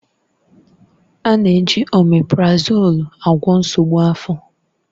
A na-eji oméprazolú agwọ nsogbu afọ.